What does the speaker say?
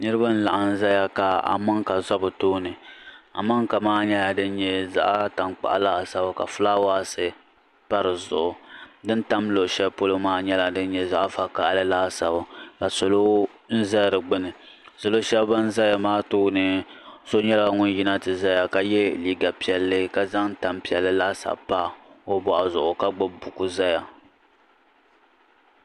Niriba n laɣim zaya ka amaŋka za bɛ tooni amaŋka maa nyɛla din nyɛ zaɣ tankpaɣu laasabu ka fulaawaasi pa di zuɣu din tam luɣushɛli polo ŋɔ nyɛla zaɣ vakahili laasabu ka salo n za di gbuni salo shɛbi ban zaya maa tooni so nyɛla ŋun yina ti zaya ka yɛ liiga piɛlli ka zaŋ tampiɛlli laasabu pa o bɔɣu zuɣu ka gbubi buku zaya.